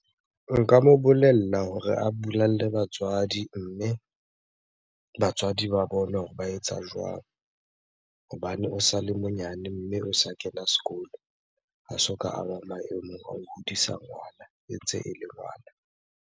Nka mo bolella hore a bolelle batswadi, mme batswadi ba bone hore ba etsa jwang? Hobane o sale monyane, mme o sa kena sekolo. Ha soka a ba maemong a ho hodisa ngwana, e ntse ele ngwana.